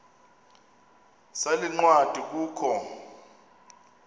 sale ncwadi kukho